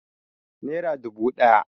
Nera dubu ɗaya